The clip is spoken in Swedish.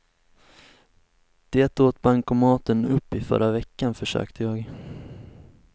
Det åt bankomaten upp i förra veckan, försökte jag.